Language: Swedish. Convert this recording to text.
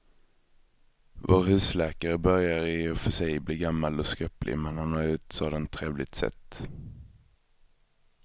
Vår husläkare börjar i och för sig bli gammal och skröplig, men han har ju ett sådant trevligt sätt!